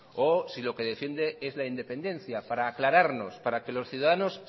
o si lo que defiende es la independencia para aclararnos para que los ciudadanos